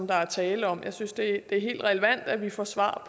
der er tale om jeg synes det er helt relevant at vi får svar